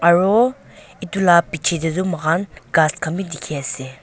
aro edu la piche de tu moikhan ghas khan b dikhi ase.